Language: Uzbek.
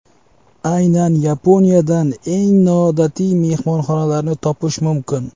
Aynan Yaponiyadan eng noodatiy mehmonxonalarni topish mumkin.